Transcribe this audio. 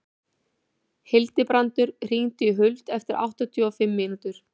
Hildibrandur, hringdu í Huld eftir áttatíu og fimm mínútur.